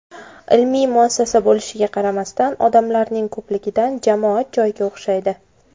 Ilmiy muassasa bo‘lishiga qaramasdan, odamlarning ko‘pligidan jamoat joyiga o‘xshaydi.